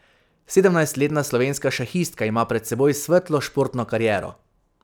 Sedemnajstletna slovenska šahistka ima pred seboj svetlo športno kariero.